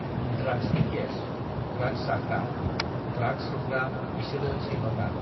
ड्राग्सनि case, drugs जाग्रा, drugs सोबग्रा बिसोरो सैमाफ्रा।